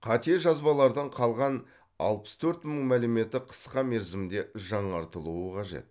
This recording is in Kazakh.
қате жазбалардың қалған алпыс төрт мың мәліметі қысқа мерзімде жаңартылуы қажет